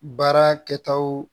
Baara kɛtaw